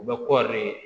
U bɛ kɔɔri ye